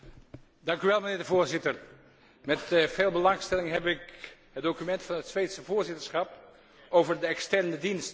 Voorzitter, met veel belangstelling heb ik het document van het Zweedse voorzitterschap over de Externe Dienst gelezen.